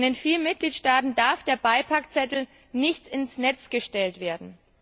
Denn in vielen Mitgliedstaaten darf der Beipackzettel nicht ins Netz gestellt werden.